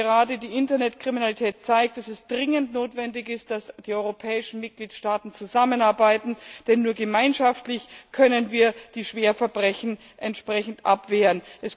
Gerade die Internetkriminalität zeigt, dass es dringend notwendig ist, dass die europäischen Mitgliedstaaten zusammenarbeiten, denn nur gemeinschaftlich können wir schwere Verbrechen entsprechend abwehren.